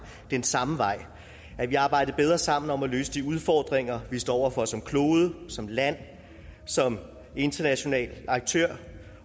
den samme vej at vi arbejdede bedre sammen om at løse de udfordringer vi står over for som klode som land som international aktør